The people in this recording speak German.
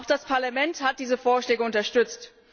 Auch das Parlament hat diese Vorschläge unterstützt.